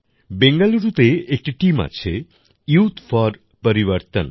বেঙ্গালুরুতে একটি টিম আছে ইউথ ফর পরিবর্তন